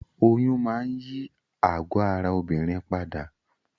Oyún máa n yí àgọ́ ara obìnrin padà